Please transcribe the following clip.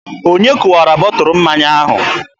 Onye kụwara bọtụlụ mmanya ahụ?